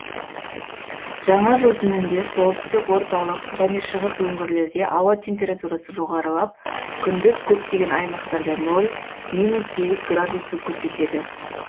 жаңа жыл түнінде солтүстік орталық және шығыс өңірлерде ауа температурасы жоғарылап күндіз көптеген аймақтарда нөл минус сегіз градусты көрсетеді